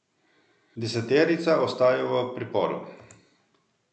Deseterica ostaja v priporu.